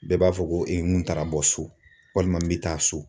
Bɛɛ b'a fɔ ko n taara bɔ so walima n bɛ taa so.